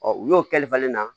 u y'o kɛli falen na